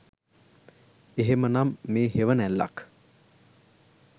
එහෙමනම් මේ හෙවණැල්ලක්